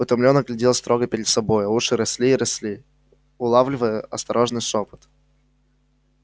утомлённо глядел строго перед собой а уши росли и росли улавливая осторожный шёпот